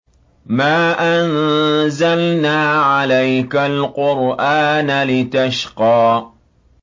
مَا أَنزَلْنَا عَلَيْكَ الْقُرْآنَ لِتَشْقَىٰ